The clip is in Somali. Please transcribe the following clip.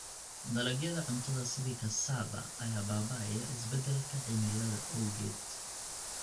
Dalagyada cuntada sida cassava ayaa baaba'aya isbeddelka cimilada awgeed.